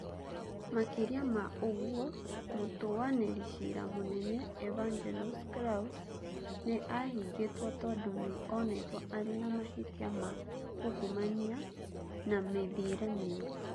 Makĩria ma ũguo, mũtuanĩri cira mũnene Evangelos Kalousis nĩ ahingĩtwo tondũ nĩ onetwo arĩ na mahĩtia ma ungumania na mĩthiĩre mĩũru.